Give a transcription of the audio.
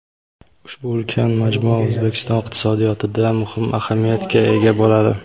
Ushbu ulkan majmua O‘zbekiston iqtisodiyotida muhim ahamiyatga ega bo‘ladi.